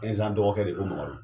Ɛnzan dɔgɔkɛ re ko Mamadu